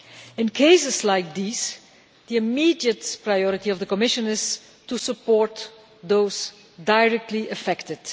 In cases like these, the immediate priority of the Commission is to support those directly affected.